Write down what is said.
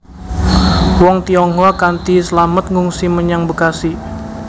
Wong Tionghoa kanthi slamet ngungsi menyang Bekasi